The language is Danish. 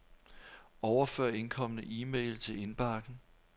Overfør indkomne e-mail til indbakken.